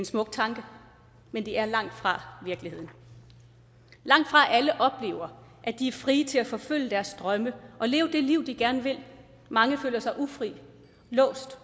smuk tanke men det er langtfra virkeligheden langtfra alle oplever at de er frie til at forfølge deres drømme og leve det liv de gerne vil mange føler sig ufri låst